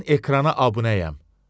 Mən ekrana abunəyəm.